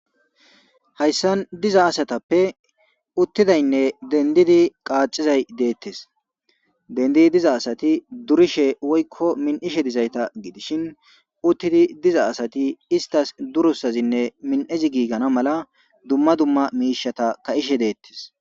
hayssan diza asatappe uttidaynne dendidi qaacizay deettes. Dendidi diza asati durishe woykko min7ishe dizayta gidishin uttidi diza asati istas durusazinne min7ezi giigana mala dumma dumma miishata ka7ishe deettes.